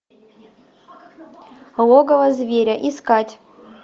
логово зверя искать